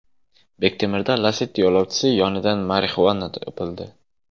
Bektemirda Lacetti yo‘lovchisi yonidan marixuana topildi.